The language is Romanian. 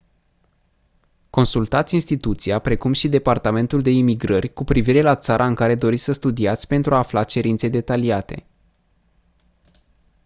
consultați instituția precum și departamentul de imigrări cu privire la țara în care doriți să studiați pentru a afla cerințe detaliate